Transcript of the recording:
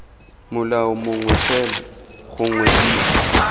molao mongwe fela gongwe b